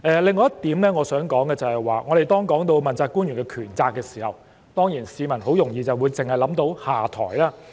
另外一點我想說的是，當我們談及問責官員的權責問題時，市民很容易會聯想到下台。